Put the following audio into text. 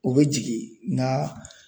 O be jigin nga